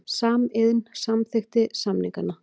Samiðn samþykkti samningana